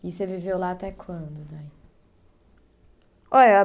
E você viveu lá até quando? Olha